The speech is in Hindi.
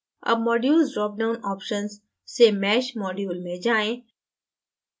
अब modules dropdown option से mesh module में जाएँ